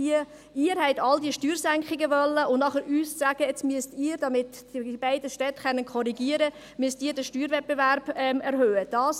Sie alle haben die Steuersenkungen gewollt, und nachher wollen Sie uns sagen, dass wir nun, damit die beiden Städte korrigieren können, den Steuerwettbewerb erhöhen müssen.